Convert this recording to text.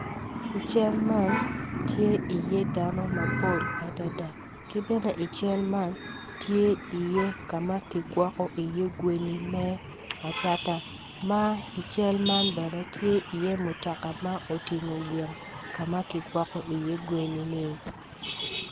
I cal man tye iye dano mapol adada ki bene i cal man tye iye ka ma kigwoko iye gweni me acata ma i cal man bene tye iye mutoka ma otingo gin ka ma kigwokko iye geni-ni.